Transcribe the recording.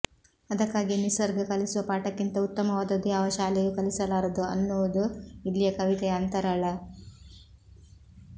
ಅದಕ್ಕಾಗಿಯೇ ನಿಸರ್ಗ ಕಲಿಸುವ ಪಾಠಕ್ಕಿಂತ ಉತ್ತಮವಾದದ್ದು ಯಾವ ಶಾಲೆಯೂ ಕಲಿಸಲಾರದು ಅನ್ನುವುದು ಇಲ್ಲಿಯ ಕವಿತೆಯ ಅಂತರಾಳ